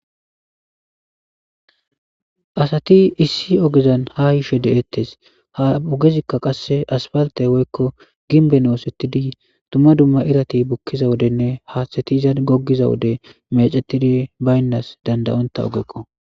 Asati issi ogezan ha yiishe de'ettes ha ogezikka qasse asfalte woykko ginben oosettidi dumma dumma irati bukkiza wodenne haathtatizan goggiza wode mecetidi baynnas dandayonta ogekko.